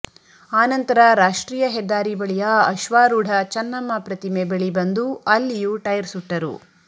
ಆನಂತರ ರಾಷ್ಟ್ರೀಯ ಹೆದ್ದಾರಿ ಬಳಿಯ ಅಶ್ವಾರೂಢ ಚನ್ನಮ್ಮ ಪ್ರತಿಮೆ ಬಳಿ ಬಂದು ಅಲ್ಲಿಯೂ ಟೈರ್ ಸುಟ್ಟರು